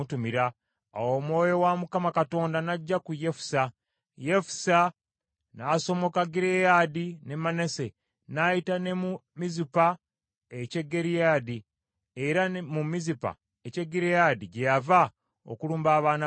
Awo Omwoyo wa Mukama Katonda n’ajja ku Yefusa; Yefusa n’asomoka Gireyaadi ne Manase, n’ayita ne mu Mizupa eky’e Gireyaadi, era mu Mizupa eky’e Gireyaadi gye yava okulumba abaana ba Amoni.